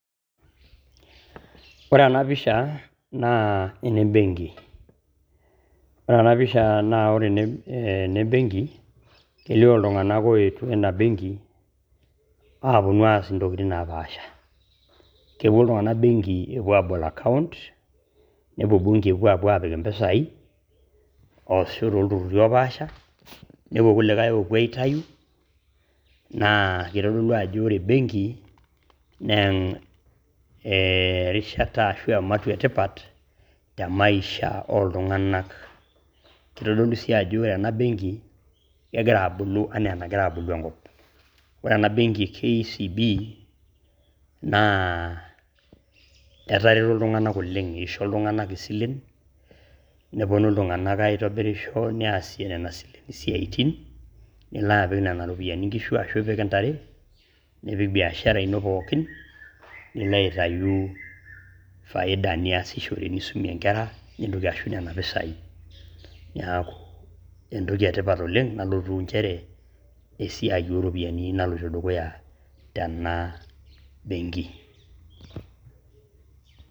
Ore ena mpisha naa ene mbenki, ore ena mpisha naa ore ene mbenki keilio ltunganak eito ana mbenki aaponu aas ntokitin napaasha ,keponu ltunganak mbenki eponu aabol account ,nepo embenki aapo apik empesai ashu too ltururr opaasha, nepo lkulikai oopo aitayu naa keitodolu ajo ore embenki naa erishata ashu emasho etipat te maisha oltunganak, keitodolu sii ajo ore ena benki naa kegira abulu enaa enegira abulu te nkop. Ore ena benki KCB naa etareto ltunganak oleng eisho ltunganak esilen, neponu ltunganak aitobirisho neasishore nenia siaaitin, nilo apik nenia ropiyiani nkishu ashu apik ntare, nipik biashara ino pookin nilo aitayu ilfaida niashishore nisomie inkera nintoki ashuku nenia mpesai, neaku entoki etipat oleng nalotu inchere esiaai oo ropiyiani naloto dukuya tena benki.